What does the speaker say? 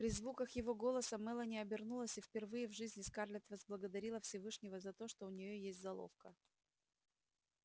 при звуках его голоса мелани обернулась и впервые в жизни скарлетт возблагодарила всевышнего за то что у нее есть золовка